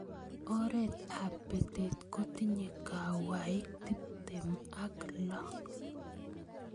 oret ab batet kotinye kawaik tiptem ak lo